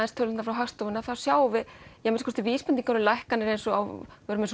tölurnar frá Hagstofu sjáum við vísbendingar um lækkanir eins og á